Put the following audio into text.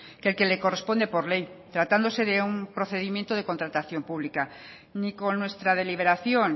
que el que le corresponde por ley tratándose de un procedimiento de contratación pública ni con nuestra deliberación